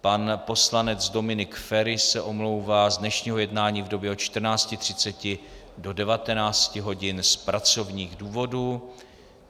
Pan poslanec Dominik Feri se omlouvá z dnešního jednání v době od 14.30 do 19 hodin z pracovních důvodů.